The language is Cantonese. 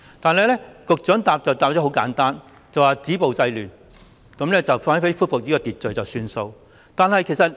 但是，局長只作簡單回應，就是止暴制亂，只要恢復秩序便算。